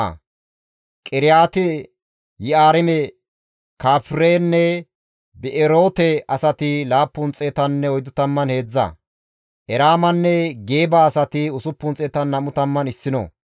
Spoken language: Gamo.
Di7eteththafe simmida qeese zereththati hayssafe kaalli dizayta; Iyaaso zereththatappe Yaddaya zereththati 973,